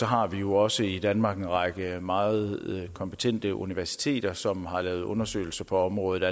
har vi jo også i danmark en række meget kompetente universiteter som allerede har lavet undersøgelser på området